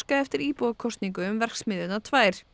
eftir íbúakosningu um verksmiðjurnar tvær